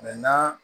na